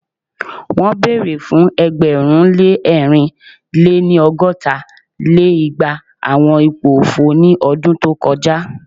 Won bere fun ẹgbẹ̀rún lé ẹ̀rin lé-ní- ọgọ́ta lé igba awọn ipo ofo ni ọdun to kọja